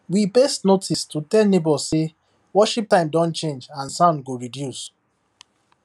we paste notice to tell neighbours say worship time don change and sound go reduce